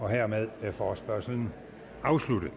hermed er forespørgslen afsluttet